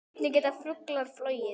Hvernig geta fuglar flogið?